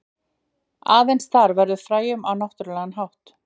Aðeins þar verður frævun á náttúrlegan hátt.